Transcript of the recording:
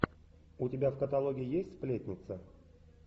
у тебя в каталоге есть сплетница